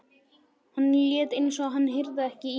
Hann lét eins og hann heyrði ekki í mér.